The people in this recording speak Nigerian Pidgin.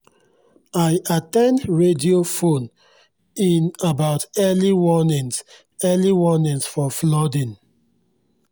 i at ten d radio phone-in about early warnings early warnings for flooding